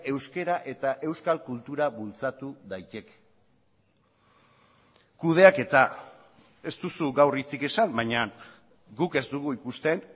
euskara eta euskal kultura bultzatu daiteke kudeaketa ez duzu gaur hitzik esan baina guk ez dugu ikusten